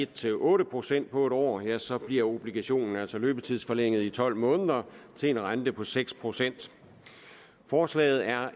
til otte procent på en år ja så bliver obligationen altså løbetidsforlænget i tolv måneder til en rente på seks procent forslaget er